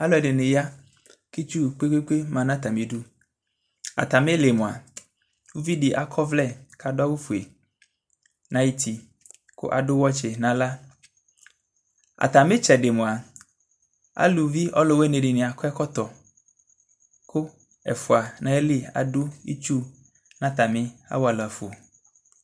alu ɛdini ya ku itsu kpékpékpé ma na atami idu atami li moa uvidi akɔ ɔvlɛ ka du awu foé na yu ti ka adu xɛtchi na axla atami tsɛdi moa aluvi ɔluwuini dini bi akɔ ɛkɔtɔ ku ɛfoa adu itsu na atami awala fo